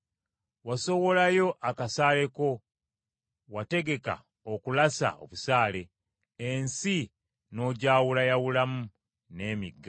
Wasowolayo akasaale ko, wategeka okulasa obusaale; ensi n’ogyawulayawulamu n’emigga.